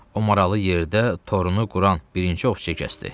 O maralı yerdə torunu quran birinci ovçiyə kəsdi.